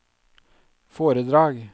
foredrag